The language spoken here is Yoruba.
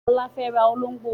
Ọlá fẹ́ ra olóngbó